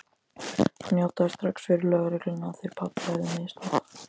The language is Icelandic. Hann játaði strax fyrir lögreglunni að þeir pabbi hefðu misnotað